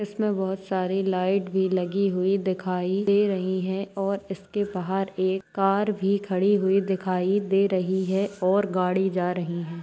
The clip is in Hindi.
इसमें बहुत सारी लाइट भी लगी हुई दिखाई दे रही है और इसके बाहर एक कार भी खड़ी हुई दिखाई दे रही है और गाड़ी जा रही है।